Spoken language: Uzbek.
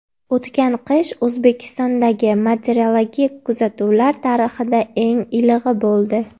O‘tgan qish O‘zbekistondagi meteorologik kuzatuvlar tarixidagi eng ilig‘i bo‘ldi.